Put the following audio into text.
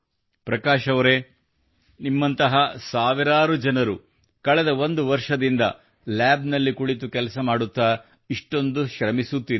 ಪ್ರಕಾಶ್ ಅವರೆ ನಿಮ್ಮಂತಹ ಸಾವಿರಾರು ಜನರು ಕಳೆದ ಒಂದು ವರ್ಷದಿಂದ ಲ್ಯಾಬ್ ನಲ್ಲಿ ಕುಳಿತಿದ್ದಾರೆ ಮತ್ತು ಇಷ್ಟೊಂದು ಶ್ರಮಿಸುತ್ತಿದ್ದಾರೆ